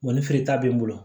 Wa ni feere ta bɛ n bolo